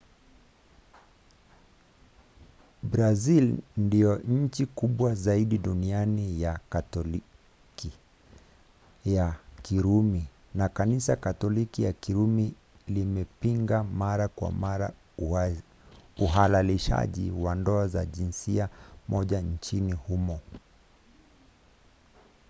brazili ndiyo nchi kubwa zaidi duniani ya katoliki ya kirumi na kanisa katoliki ya kirumi limepinga mara kwa mara uhalalishaji wa ndoa za jinsia moja nchini humo